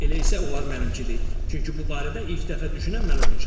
Elə isə onlar mənimkidir, çünki bu barədə ilk dəfə düşünən mən olmuşam.